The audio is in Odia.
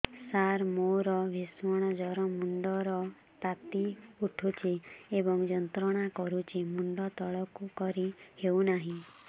ସାର ମୋର ଭୀଷଣ ଜ୍ଵର ମୁଣ୍ଡ ର ତାତି ଉଠୁଛି ଏବଂ ଯନ୍ତ୍ରଣା କରୁଛି ମୁଣ୍ଡ ତଳକୁ କରି ହେଉନାହିଁ